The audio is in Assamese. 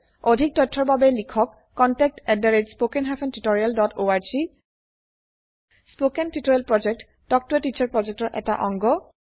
অধিক তথ্যৰ বাবে লিখক contactspoken tutorialorg স্পকেন টিওটৰিয়েল প্ৰকল্প তাল্ক ত a টিচাৰ প্ৰকল্পৰ এটা অংগ